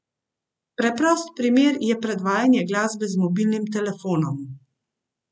Preprost primer je predvajanje glasbe z mobilnim telefonom.